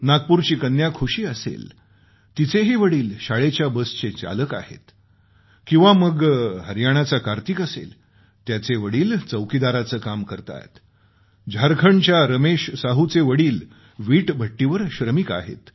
नागपूरची कन्या खुशी असेल तिचेही वडील शाळेच्या बसचे चालक आहेत किंवा मग हरियाणाचा कार्तिक असेल त्याचे वडील चौकीदारीचे काम करतात झारखंडच्या रमेश साहूचे वडील विटभट्टीवर श्रमिक आहेत